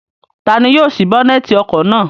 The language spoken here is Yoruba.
Ta ni yóò sí bónẹ́tì ọkọ̀ náà?